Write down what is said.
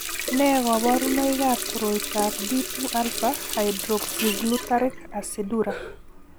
Nee kabarunoikab koroitoab D 2 alpha hydroxyglutaric aciduria?